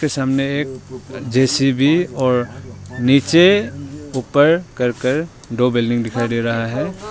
सामने एक जे_सी_बी और नीचे ऊपर करकट दो बिल्डिंग दिखाई दे रहा है।